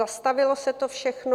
Zastavilo se to všechno.